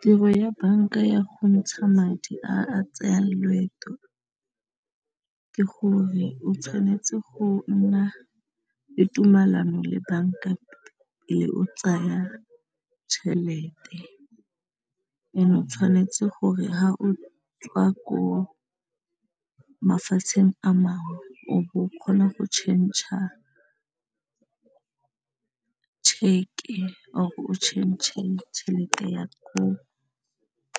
Tiro ya banka ya go ntsha madi a a tsaya loeto ke gore o tshwanetse go nna le tumelano le banka pele o tsaya tšhelete, ene o tshwanetse gore ha o tswa ko mafatsheng a mangwe o bo o kgona go tšhentšha a check-e or o change tšhelete ya ko